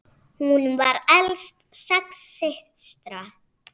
Hún var elst sex systra.